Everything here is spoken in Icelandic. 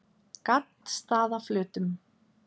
Gaddstaðaflötum